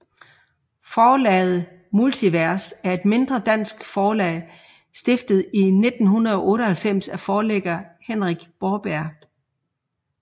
Forlaget Multivers er et mindre dansk forlag stiftet i 1998 af forlægger Henrik Borberg